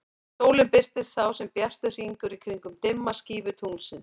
Sólin birtist þá sem bjartur hringur í kringum dimma skífu tunglsins.